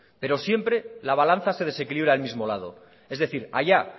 pero siempre la balanza se desequilibra al mismo lado es decir allá